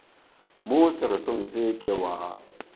mo seretong se ke wa